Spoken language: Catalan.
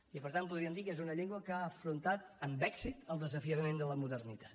i per tant podríem dir que és una llengua que ha afrontat amb èxit el desafiament de la modernitat